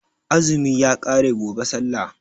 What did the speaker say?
Azumi ya ƙare gobe sallah